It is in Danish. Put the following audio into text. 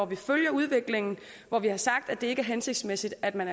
vi følger udviklingen og vi har sagt at det ikke er hensigtsmæssigt at man